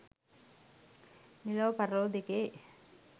මෙලොව පරලොව දෙකේ